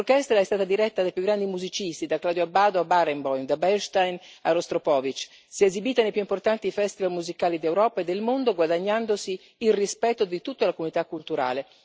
L'orchestra è stata diretta dai più grandi musicisti, da Claudio Abbado a Barenboim, da Bernstein a Rostropovič, si è esibita nei più importanti festival musicali d'Europa e del mondo, guadagnandosi il rispetto di tutta la comunità culturale.